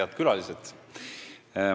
Head külalised!